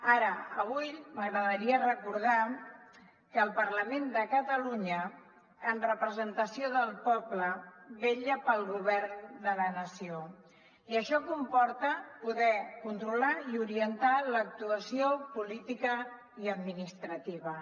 ara avui m’agradaria recordar que el parlament de catalunya en representació del poble vetlla pel govern de la nació i això comporta poder controlar i orientar l’actuació política i administrativa